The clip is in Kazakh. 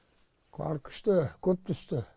қар күшті көп түсті